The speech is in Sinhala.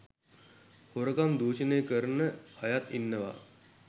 හොරකම් දූෂණය කරන අයත් ඉන්නවා.